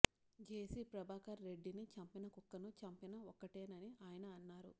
జేసీ ప్రభాకర్ రెడ్డిని చంపినా కుక్కను చంపినా ఒక్కటేనని ఆయన అన్నారు